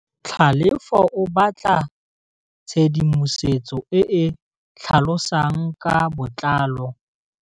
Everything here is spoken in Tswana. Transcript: Tlhalefô o batla tshedimosetsô e e tlhalosang ka botlalô.